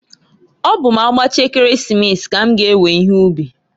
Ọ bụ m'agbachaa Ekeresimesi, k'm g'ewe ihe ubi.